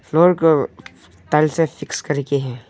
Floor को tiles से fix करके है।